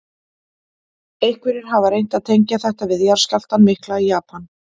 Einhverjir hafa reynt að tengja þetta við jarðskjálftann mikla í Japan.